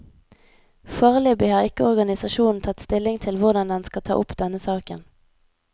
Foreløpig har ikke organisasjonen tatt stilling til hvordan den skal ta opp denne saken.